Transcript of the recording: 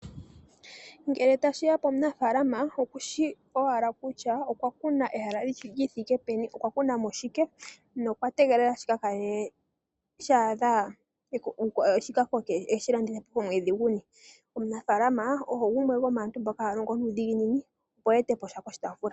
Ngele tashi ya pomunafaalama okushi owala kutya okwa kuna ehala li thike peni, okwa kuna mo shike nokwa tegelela shi ka kale sha koka e shi landithe po omwedhi guni. Omunaafala oye gumwe gomaantu mboka haya longo nuudhiginini, opo e ete po sha poshitaafula.